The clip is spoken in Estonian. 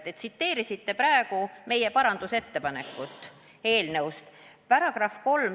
Te tsiteerisite meie eelnõus esitatud parandusettepanekut.